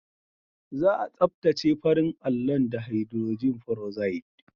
Za a tsaftace farin allon da hidrojin feroxide.